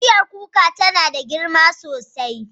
Bishiyar kuka tana da girma sosai.